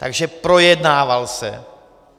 Takže projednával se.